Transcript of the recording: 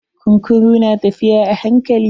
Kunkurun na tafiya a hankali.